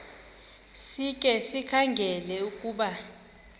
sikhe sikhangele ukuba